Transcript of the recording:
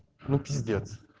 ну пиздец